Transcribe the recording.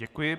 Děkuji.